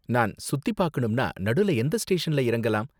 நான் சுத்தி பாக்கணும்னா நடுல எந்த ஸ்டேஷன்ல இறங்கலாம்?